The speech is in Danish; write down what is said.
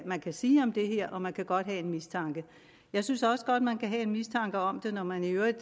man kan sige om det her og man kan godt have en mistanke jeg synes også godt at man kan have en mistanke om det når man i øvrigt